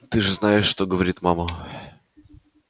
ты же знаешь что говорит мама